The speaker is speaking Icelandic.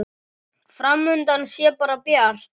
Fram undan sé bara bjart.